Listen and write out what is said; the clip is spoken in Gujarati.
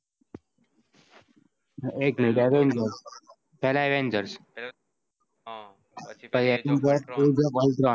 એક મીનત પેલા avengers હમ પછી age of ultron